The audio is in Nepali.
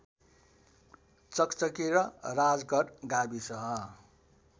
चकचकी र राजगढ गाविस